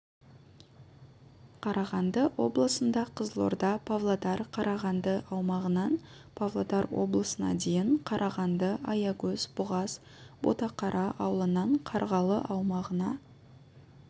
қарағанды облысында қызылорда павлодар қарағанды аумағынан павлодар облысына дейін қарағанды аягөз бұғаз ботақара ауылынан қарғалы аумағына